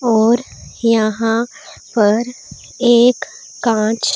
और यहां पर एक कांच--